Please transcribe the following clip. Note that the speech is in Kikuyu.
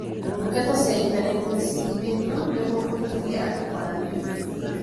Tungata cia ntaneti nĩ cihingĩtwo nĩguo kũritũhia andũ kwaranĩria.